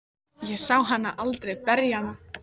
Ég sá hann aldrei berja hana.